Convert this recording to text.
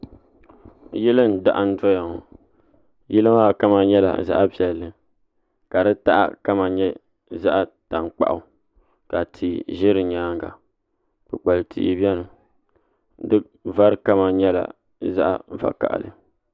Yili n daham doya ŋɔ yili maa kama nyɛla zaɣ piɛlli ka di taha kama nyɛ zaɣ tankpaɣu ka tihi ʒɛ di nyaanga kpukpali tihi biɛni di vari kama nyɛla zaɣ vakaɣali